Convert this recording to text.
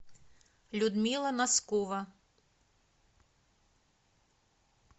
людмила носкова